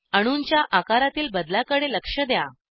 अणूंच्या आकारातील बदलाकडे लक्ष द्या